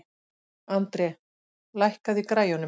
André, lækkaðu í græjunum.